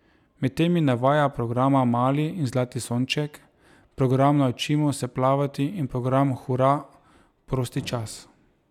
Med temi navaja programa Mali in Zlati sonček, program Naučimo se plavati in program Hura, prosti čas.